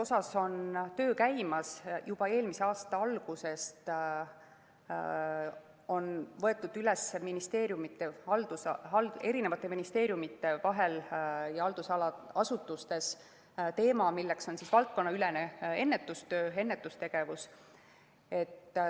Ka siin on töö käimas, juba eelmise aasta algusest on võetud eri ministeeriumides ja haldusala asutustes üles teema, milleks on valdkonnaülene ennetustöö, ennetustegevus.